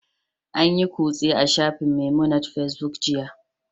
An yi kutse a shafin Memunant Facebook jiya